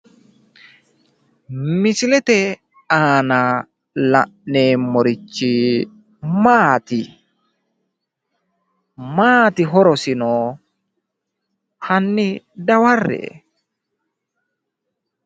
Misilete aana la'neemmorichi maati? Maati horoseno hanni dawarre"e?